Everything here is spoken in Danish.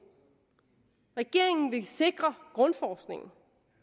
regeringen ville sikre grundforskningen